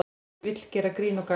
Vill gera grín og gagn